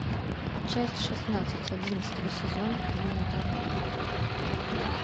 часть шестнадцать одиннадцатого сезона элементарно